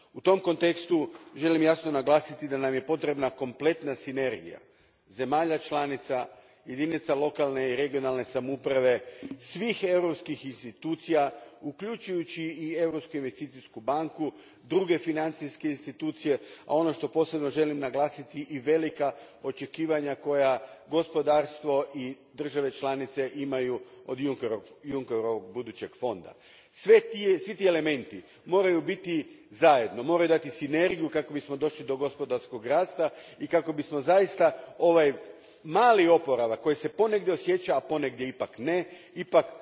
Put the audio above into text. U tom kontekstu želim jasno naglasiti da nam je potrebna kompletna sinergija zemalja članica, jedinica lokalne i regionalne samouprave, svih europskih institucija, uključujući i Europsku investicijsku banku, druge financijske institucije, a ono što posebno želim naglasiti i velika očekivanja koja gospodarstvo i države članice imaju od Junckerovog budućeg fonda. Svi ti elementi moraju biti zajedno, moraju dati sinergiju kako bismo došli do gospodarskog rasta i kako bi zaista ovaj mali oporavak koji se ponegdje osjeća, a ponegdje ipak ne, ipak